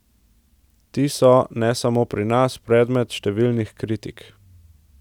Ti so, ne samo pri nas, predmet številnih kritik.